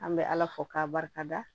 An bɛ ala fo k'a barikada